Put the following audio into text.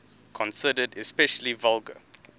considered especially vulgar